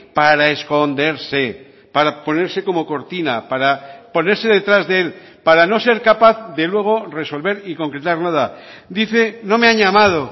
para esconderse para ponerse como cortina para ponerse detrás de él para no ser capaz de luego resolver y concretar nada dice no me han llamado